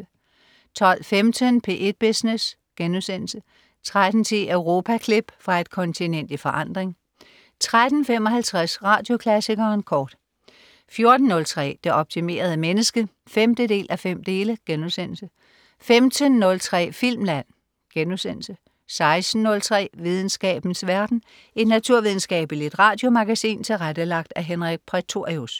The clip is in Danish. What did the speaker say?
12.15 P1 Business* 13.10 Europaklip. Fra et kontinent i forandring 13.55 Radioklassikeren kort 14.03 Det optimerede menneske 5:5* 15.03 Filmland* 16.03 Videnskabens verden. Et naturvidenskabeligt radiomagasin tilrettelagt af Henrik Prætorius